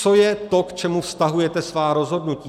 Co je to, k čemu vztahujete svá rozhodnutí?